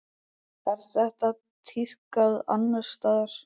Er þetta tíðkað annars staðar?